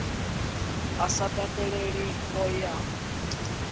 a sa takaleli o ya